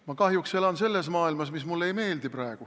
Ma kahjuks elan praegu selles maailmas, mis mulle ei meeldi.